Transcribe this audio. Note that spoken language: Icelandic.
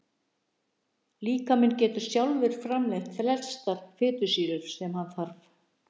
Líkaminn getur sjálfur framleitt flestar fitusýrur sem hann þarf.